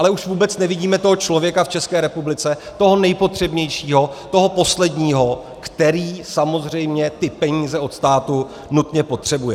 Ale už vůbec nevidíme toho člověka v České republice, toho nejpotřebnějšího, toho posledního, který samozřejmě ty peníze od státu nutně potřebuje.